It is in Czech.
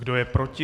Kdo je proti?